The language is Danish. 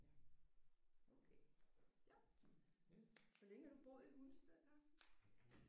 Ja okay ja. Hvor længe har du boet i Hundested Carsten?